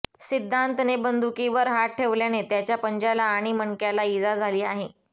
सिद्धांतने बंदुकीवर हात ठेवल्याने त्याच्या पंज्याला आणि मणक्याला इजा झाली आहे